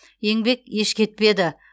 еңбек еш кетпеді